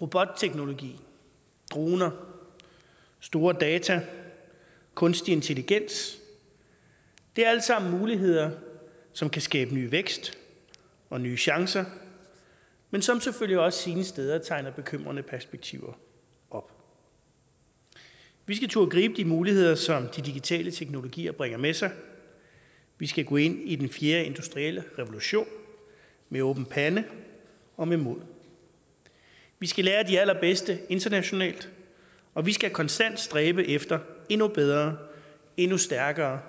robotteknologi droner store datamængder og kunstig intelligens er alt sammen muligheder som kan skabe ny vækst og nye chancer men som selvfølgelig også sine steder tegner bekymrende perspektiver op vi skal turde gribe de muligheder som de digitale teknologier bringer med sig vi skal gå ind i den fjerde industrielle revolution med åben pande og med mod vi skal lære af de allerbedste internationalt og vi skal konstant stræbe efter endnu bedre og endnu stærkere